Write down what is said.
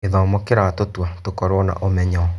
Gĩthomo kĩratũtua tũkorwo na ũmenyo.